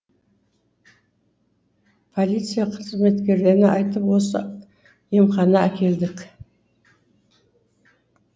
полиция қызметкерлеріне айтып осы емхана әкелдік